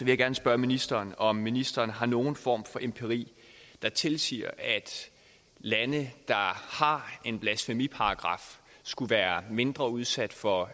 jeg gerne spørge ministeren om ministeren har nogen form for empiri der tilsiger at lande der har en blasfemiparagraf skulle være mindre udsat for